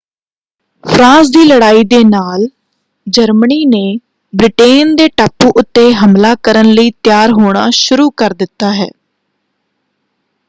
France ਦੀ ਲੜਾਈ ਦੇ ਨਾਲ ਜਰਮਨੀ ਨੇ ਬ੍ਰਿਟੇਨ ਦੇ ਟਾਪੂ ਉੱਤੇ ਹਮਲਾ ਕਰਨ ਲਈ ਤਿਆਰ ਹੋਣਾ ਸ਼ੁਰੂ ਕਰ ਦਿੱਤਾ ਹੈ।